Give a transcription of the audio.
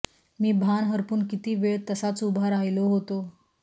मी भान हरपून किती वेळ तसाच उभा राहिलो होतो